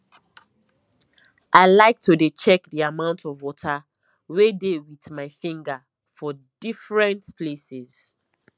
i like to dey check the amount of water wey dey with my finger for defferents places